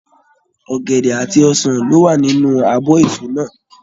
Ọ̀gẹ̀dẹ̀ àti ọsàn ló wà nínú abọ́ èso náà.